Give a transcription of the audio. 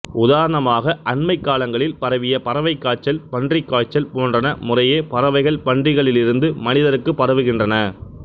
உதாரணமாக அண்மைக் காலங்களில் பரவிய பறவைக் காய்ச்சல் பன்றிக் காய்ச்சல் போன்றன முறையே பறவைகள் பன்றிகளிலிருந்து மனிதருக்கு பரவுகின்றன